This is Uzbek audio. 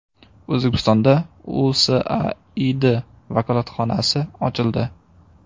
O‘zbekistonda USAID vakolatxonasi ochildi.